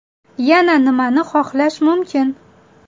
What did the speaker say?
Yana nimani xohlash mumkin?